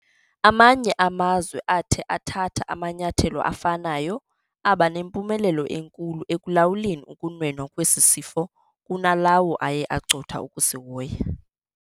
Amanye amazwe athe athatha amanyathelo afanayo, aba nempumelelo enkulu ekulawuleni ukunwenwa kwesi sifo kunalawo aye acotha ukusihoya.